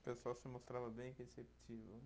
O pessoal se mostrava bem receptivo.